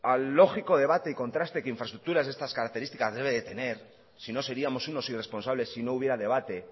al lógico debate y en contraste de infraestructuras de estas características debe de tener sino seríamos unos irresponsables si no hubiera debate